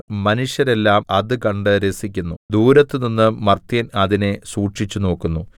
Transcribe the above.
മനുഷ്യരെല്ലാം അതുകണ്ട് രസിക്കുന്നു ദൂരത്തുനിന്ന് മർത്യൻ അതിനെ സൂക്ഷിച്ചുനോക്കുന്നു